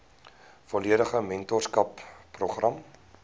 volledige mentorskap program